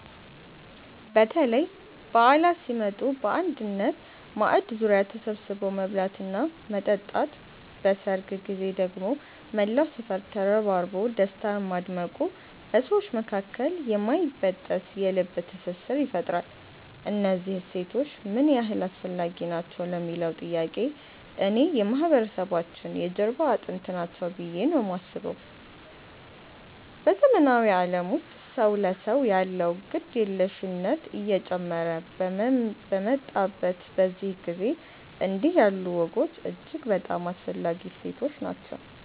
በተለይ በዓላት ሲመጡ በአንድ ማዕድ ዙሪያ ተሰብስቦ መብላትና መጠጣት፣ በሰርግ ጊዜ ደግሞ መላው ሰፈር ተረባርቦ ደስታን ማድመቁ በሰዎች መካከል የማይበጠስ የልብ ትስስር ይፈጥራል። እነዚህ እሴቶች ምን ያህል አስፈላጊ ናቸው ለሚለዉ ጥያቄ፣ እኔ የማህበረሰባችን የጀርባ አጥንት ናቸው ብዬ ነው የማስበው። በዘመናዊው ዓለም ውስጥ ሰው ለሰው ያለው ግድየለሽነት እየጨመረ በመጣበት በዚህ ጊዜ፣ እንዲህ ያሉ ወጎች እጅግ በጣም አስፈላጊ እሴቶች ናቸው።